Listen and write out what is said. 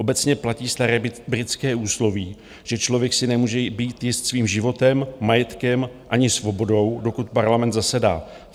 Obecně platí staré britské úsloví, že člověk si nemůže být jist svým životem, majetkem ani svobodou, dokud Parlament zasedá.